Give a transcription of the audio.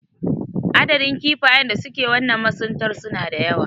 Adadin kifayen da suke wannan masuntar suna da yawa.